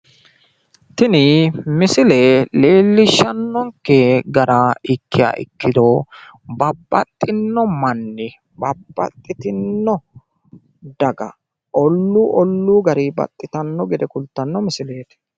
Tini misile leellishshannonkke gara ikkiha ikkiro babbaxinno manni babbaxitino daga olluu olluu garinni baxitanno gede kultanno misileeti.